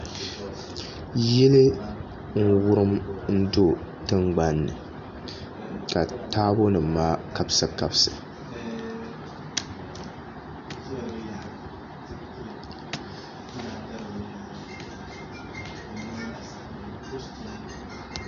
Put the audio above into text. Yili n wurim do tingbanni ka taabo nim maa kabisi kabisi